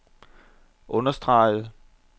understregede